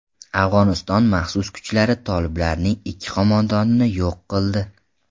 Afg‘oniston maxsus kuchlari toliblarning ikki qo‘mondonini yo‘q qildi.